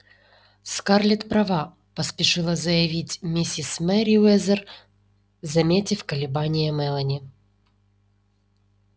скарлетт права поспешила заявить миссис мерриуэзер заметив колебания мелани